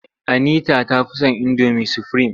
Anisa ta fi son indomi sufurim.